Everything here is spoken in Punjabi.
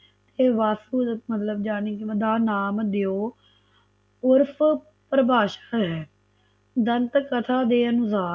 ਇਹ ਵਾਸਤੂ ਮਤਲਬ ਜਾਣੀ ਕਾ ਨਾਮ ਦਿਓ ਉਰਫ ਪ੍ਰਭਾਸ਼ਾ ਹੈ ਜਨਤਕ ਕਥਾ ਦੇ ਅਨੁਸਾਰ